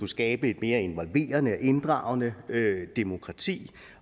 skabe et mere involverende og inddragende demokrati